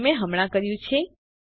જે મેં હમણાં કર્યું છે